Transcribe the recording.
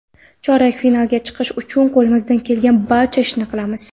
Chorak finalga chiqish uchun qo‘limizdan kelgan barcha ishni qilamiz.